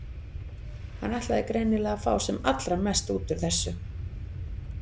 Hann ætlaði greinilega að fá sem allra mest út úr þessu.